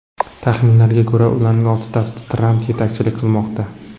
Taxminlarga ko‘ra, ularning oltitasida Tramp yetakchilik qilmoqda.